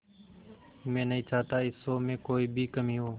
मैं नहीं चाहता इस शो में कोई भी कमी हो